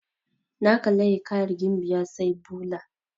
Na kalla hiƙayar gimbiya sailuba.